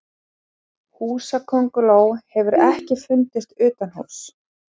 húsakönguló hefur ekki fundist utanhúss